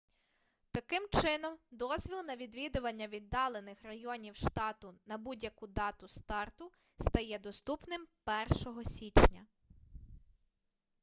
таким чином дозвіл на відвідування віддалених районів штату на будь-яку дату старту стає доступним 1 січня